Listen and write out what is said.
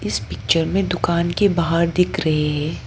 इस पिक्चर में दुकान के बाहर दिख रहे है।